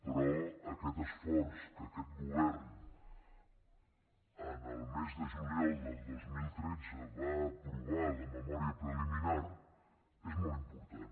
però aquest esforç que aquest govern en el mes de juliol de dos mil tretze va aprovar ne la memòria preliminar és molt important